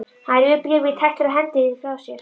Hann rífur bréfið í tætlur og hendir því frá sér.